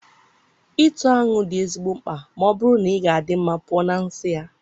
ịtụ aṅụ egwu dị ezigbo mkpa ma ọ bụrụ na ị ga-adị mma pụọ na nsị ya.